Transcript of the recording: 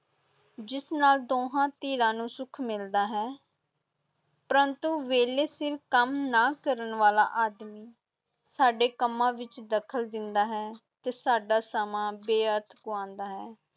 ਜਿਸ ਨਾਲ ਦੋਹਾਂ ਧਿਰਾਂ ਨੂੰ ਸੁੱਖ ਮਿਲਦਾ ਹੈ ਪਰੰਤੂ ਵੇਲੇ ਸਿਰ ਕੰਮ ਨਾ ਕਰਨ ਵਾਲਾ ਆਦਮੀ ਸਾਡੇ ਕੰਮਾਂ ਵਿੱਚ ਦਖ਼ਲ ਦਿੰਦਾ ਹੈ ਅਤੇ ਸਾਡਾ ਸਮਾਂ ਬੇਅਰਥ ਗੁਆਉਂਦਾ ਹੈ।